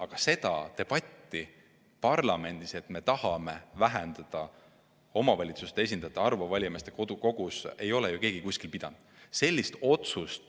Aga seda debatti, et me tahame vähendada omavalitsuste esindajate arvu valijameeste kogus, ei ole parlamendis ju keegi pidanud.